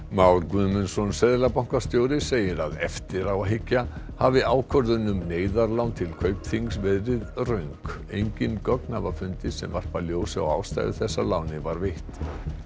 Már Guðmundsson seðlabankastjóri segir að eftir á að hyggja hafi ákvörðun um neyðarlán til Kaupþings verið röng engin gögn hafa fundist sem varpa ljósi á ástæðu þess að lánið var veitt